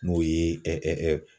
N'o ye